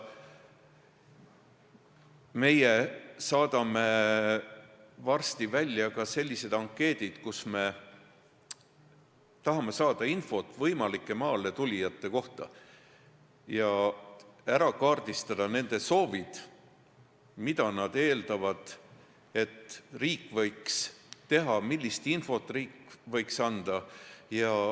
Me saadame varsti välja ka ankeedid, et saada infot võimalike maale tulijate kohta ja ära kaardistada nende soovid: mida nad eeldavad, et riik võiks teha, millist infot riik võiks anda.